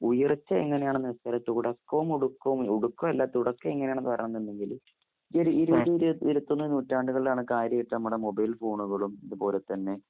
ഉയർച്ച എങ്ങനെയാണെന്ന് വെച്ചാൽ തുടക്കവും ഒടുക്കവും ഒടുക്കവല്ല തുടക്കംയെങ്ങനെയാണെന്ന് പറയുന്നുണ്ടെങ്കില് ഈയൊരുഇരൂഇരൂഇരുപത് ഇരുത്തൊന്ന്നൂറ്റാണ്ടുകളിലാണ് കാര്യായിട്ട്മ്മടെ മൊബൈൽഫോണുകളും അതുപോലെത്തന്നെ